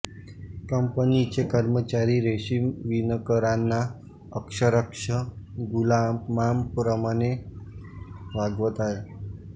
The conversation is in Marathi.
कंपनीचे कर्मचारी रेशीम विणकराना अक्षरशः गुलामांप्रमाणे वागवत असत